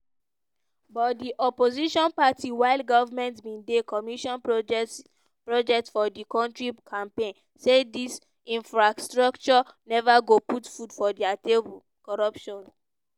but di opposition party while government bin dey commission projects projects for di kontri campaign say dis infrastructure neva go put food for dia table corruption